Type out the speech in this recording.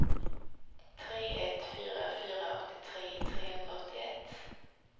tre ett fyra fyra åttiotre trehundraåttioett